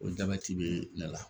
O jabɛti be ne la